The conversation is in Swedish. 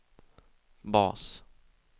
bas